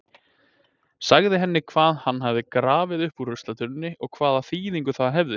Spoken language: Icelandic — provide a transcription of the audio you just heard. Sagði henni hvað hann hafði grafið upp úr ruslatunnunni og hvaða þýðingu það hefði.